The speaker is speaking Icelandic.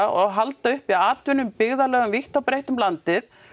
og halda uppi atvinnu í byggðarlögum vítt og breitt um landið